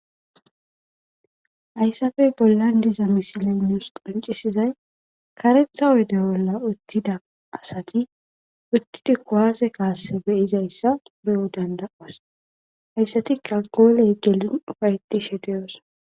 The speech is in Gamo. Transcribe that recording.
Hayssafe bollan diza misilay nuus qancisizay karetha odde bolla uttida asati uttida kowaase kaasse beyizayssa be'o danda'os hayssatikka gooley gelin ufaytishe deyos.